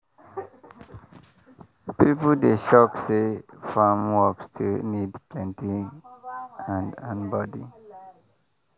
people dey shock say farm work still need plenty hand and body.